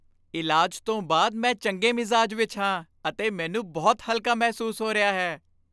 ਇਲਾਜ ਤੋਂ ਬਾਅਦ ਮੈਂ ਚੰਗੇ ਮਿਜ਼ਾਜ ਵਿੱਚ ਹਾਂ ਅਤੇ ਮੈਨੂੰ ਬਹੁਤ ਹਲਕਾ ਮਹਿਸੂਸ ਹੋ ਰਿਹਾ ਹੈ।